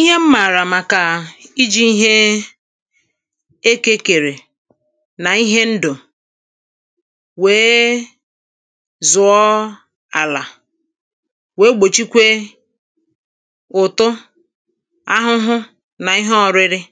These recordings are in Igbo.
Ihe m mààrà màkà ijì ihe ekē kèrè nà ihe ndụ̀ wèe zụ̀ọ àlà wèé gbòchíkwé ʊ̀tʊ́ áhʊ́hʊ́ nà íhé ɔ̄rɪ̄rɪ̄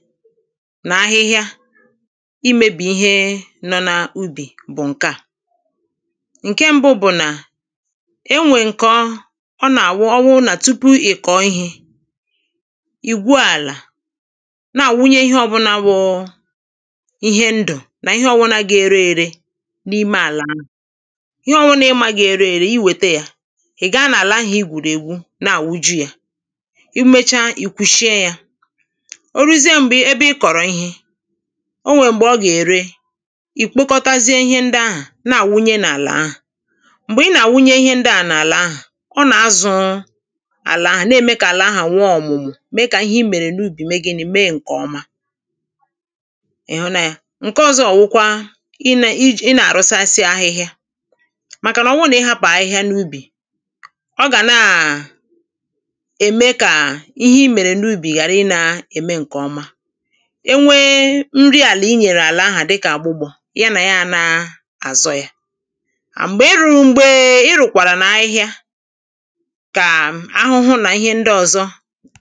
nà áhɪ́hɪ́ə